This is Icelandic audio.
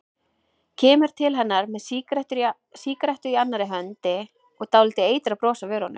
Kemur til hennar með sígarettu í annarri hendi og dálítið eitrað bros á vörunum.